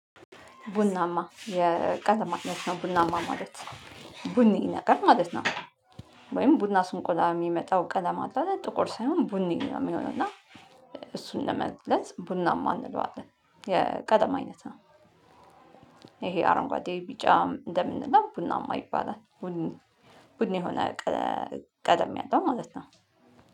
ቡናማ የቀለማት አይነት ነው ቡናማ ማለት ቡኒ ነገር ማለት ነው። ወይም ቡና ስንቆላ የሚመጣው ቀለም አለ ጥቁር ሳይሆን ቡና ነው የሚሆነው። እና እሱን ለመግለጽ ቡናማ እንለዋለን የቀለም አይነት ነው። ይሄ አረንጓዴ ቢጫ እንደምንለው ቡናማ ይባላል። ቡኒ የሆነ ቀለም ያለው ማለት ነው